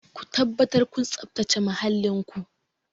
Ku tabbatar kun tsabtace muhallin ku!